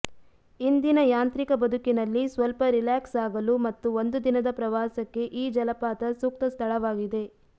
ಇಂದಿನ ಯಾಂತ್ರಿಕ ಬದುಕಿನಲ್ಲಿ ಸ್ವಲ್ಪ ರಿಲ್ಯಾಕ್ಸ್ ಆಗಲು ಮತ್ತು ಒಂದು ದಿನದ ಪ್ರವಾಸಕ್ಕೆ ಈ ಜಲಪಾತ ಸೂಕ್ತ ಸ್ಥಳವಾಗಿದೆ